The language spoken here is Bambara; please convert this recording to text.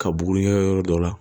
Ka bugun yɔrɔ dɔ la